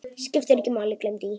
Skiptir ekki máli, gleymdu því.